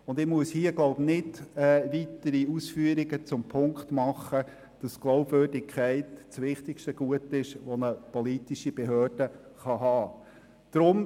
Ich muss hier wohl keine weiteren Ausführungen dazu machen, dass die Glaubwürdigkeit das wichtigste Gut ist, das eine politische Behörde haben kann.